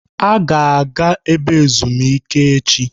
A ga-aga ebe ezumike echi?